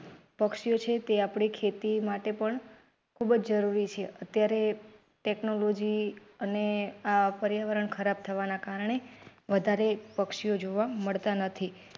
પક્ષીઓ છે તે આપણી ખેતી માટે પણ ખૂબ જરૂરી છે અત્યારે technology અને આ પરિયાવરણ ખરાબ થવાને કારણે વધારે પક્ષીઓ જોવા મળતા નથી.